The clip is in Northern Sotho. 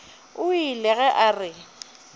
o ile ge a re